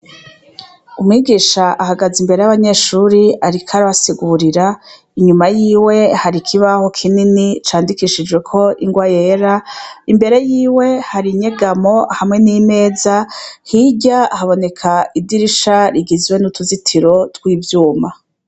Umwigisha ahagaze imbere yabanyeshuri ariko arabasigurira inyuma yiwe hari ikibaho kinini candikishijweko ingwa yera imbere yiwe hari inyegamo hamwe nimeza hirya haboneka idirisha rigizwe nuruzitiro twivyuma